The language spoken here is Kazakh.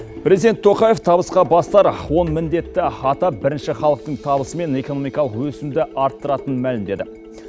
президент тоқаев табысқа бастар он міндетті атап бірінші халықтың табысы мен экономикалық өсімді арттыратынын мәлімдеді